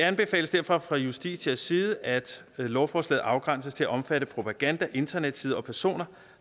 anbefales derfor fra justitias side at lovforslaget afgrænses til at omfatte propaganda internetsider og personer